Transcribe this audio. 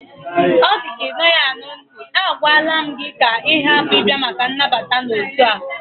Ọ dịka Ị naghị anụ ntị, a gwala m gị ka ị hapụ ịbịa maka nnabata n'otu a!